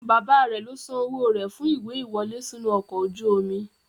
Bàbáa rẹ̀ ló san owó rẹ̀ fún ìwé ìwọlé sínú ọkọ̀ ojú omi.